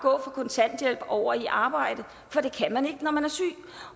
kontanthjælp over i arbejde for det kan man ikke når man er syg